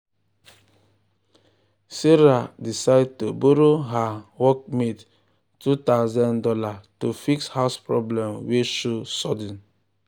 sarah decide to borrow her workmate two thousand dollars to fix house problem wey show sudden